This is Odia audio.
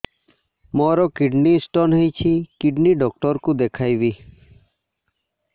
ମୋର କିଡନୀ ସ୍ଟୋନ୍ ହେଇଛି କିଡନୀ ଡକ୍ଟର କୁ ଦେଖାଇବି